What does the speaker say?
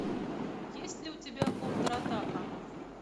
есть ли у тебя контратака